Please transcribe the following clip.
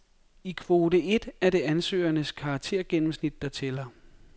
I kvote et er det ansøgernes karaktergennemsnit, der tæller.